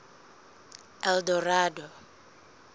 eldorado